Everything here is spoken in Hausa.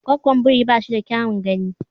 Gwggon biri ba shi da kyaun gani.